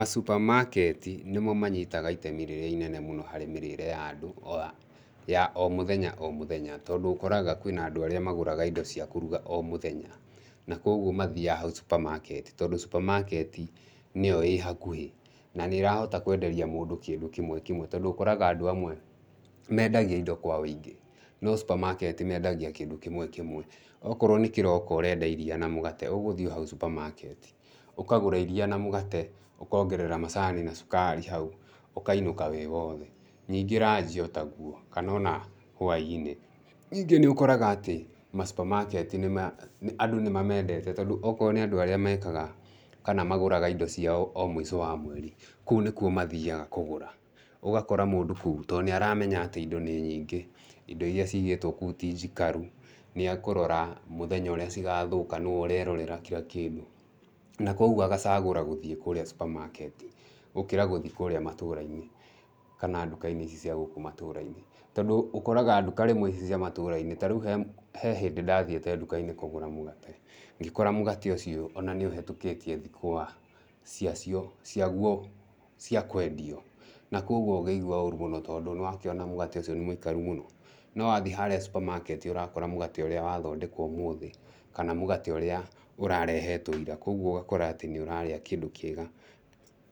Masupamaketi nĩmo manyitaga ĩtemi rĩrĩa inene mũno harĩ mĩrĩĩre ya andũ ya o mũthenya o mũthenya, tondũ ũkoraga kwĩna andũ arĩa magũraga indo cia kũruga o mũthenya. Na koguo mathiaga hau supamaketi, tondũ supamaketi nĩyo ĩ hakuhĩ. Na nĩrahota kwenderia mũndũ kĩndũ kĩmwe kĩmwe, tondũ ũkoraga andũ mendagia indo kwa wĩingĩ, no supamaketi mendagia kĩndũ kĩmwe kĩmwe. O korwo nĩ kĩroko ũrenda iria na mũgate, ũgũthiĩ o hau supamaketi, ũkagũra iria na mũgate, ũkongerera macani na cukari hau, ũkainũka wĩ wothe. Nĩngĩ ranji o ta gũo, kana ona hwa-inĩ. Ningĩ nĩ ũkoraga atĩ masupamaketi nĩma, andũ nĩ mamendete tondũ o korwo nĩ andũ arĩa mekaga kana magũraga indo ciao mũico wa mweri, kũu nĩkuo mathiaga kũgũra. Ũgakora mũndũ kũu, tondũ nĩaramenya atĩ indo nĩ nyingĩ, indo iria cigĩtwo kũu ti njikaru. Nĩekũrora mũthenya ũrĩa cigathũka nĩwe ũrerorera kira kĩndũ. Na koguo agacagũra gũthiĩ kũrĩa supamaketi gũkira gũthiĩ kũrĩa matũũra-inĩ kana ndukainĩ ici cia gũku matũũra-inĩ. Tondu ũkoraga nduka rĩmwe ici cia matũũra-inĩ ta rĩũ he hĩndĩ ndathĩĩte nduka-inĩ kũgũra mũgate, ngĩkora mũgate ũcio ona nĩ ũhetũkĩtie thikũ cia guo cia kwendio. Na koguo ngĩigua ũru mũno, tondũ nĩrakiona mũgate ũcio ni mũikaru mũno. No wathiĩ handũ harĩa supamaketi ũrakora mũgate ũrĩa wathondekwo ũmũthĩ kana mũgate ũria ũrarehetwo ĩra. Koguo ũgakora atĩ nĩũrarĩa kĩndũ kĩega.